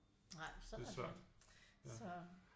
Nej sådan er det så